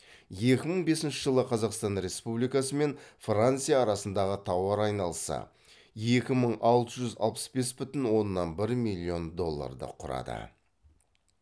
екі мың бесінші жылы қазақстан республикасы мен франция арасындағы тауар айналысы екі мың алты жүз алпыс бес бүтін оннан бір миллион долларды құрады